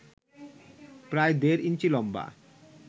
প্রায় দেড় ইঞ্চি লম্বা